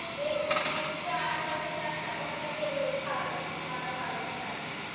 एकशे आठ वर्ष त्याने तपस्या केली होती पार्वत माता पार्वतीसाठी